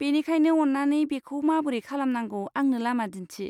बेनिखायनो, अन्नानै बेखौ माबोरै खालामनांगौ आंनो लामा दिन्थि।